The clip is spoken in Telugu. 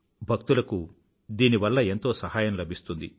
భక్తులకు దీనివల్ల ఎంతోసహాయం లభిస్తుంది